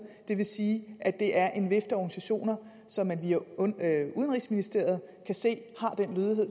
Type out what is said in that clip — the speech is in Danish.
det vil sige at det er en vifte af organisationer som man via udenrigsministeriet kan se